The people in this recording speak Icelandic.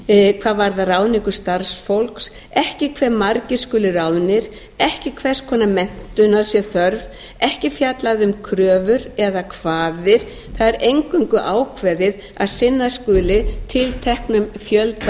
hvað varðar ráðningu starfsfólks ekki hve margir skuli ráðnir ekki hvers konar menntunar sé þörf ekki fjallað um kröfur eða kvaðir það er eingöngu ákveðið að sinna skuli tilteknum fjölda